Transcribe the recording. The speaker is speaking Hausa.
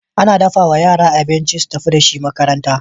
Ana dafawa yara abinci su tafi da shi makaranta